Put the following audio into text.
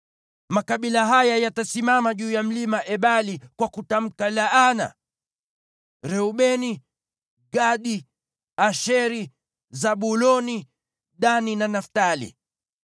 Makabila haya yatasimama juu ya Mlima Ebali kwa kutamka laana: Reubeni, Gadi, Asheri, Zabuloni, Dani na Naftali.